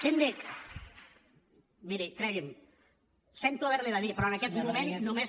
síndic miri cregui’m sento haver l’hi de dir però en aquest moment només